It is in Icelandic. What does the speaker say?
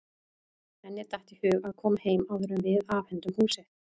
Henni datt í hug að koma heim áður en við afhendum húsið.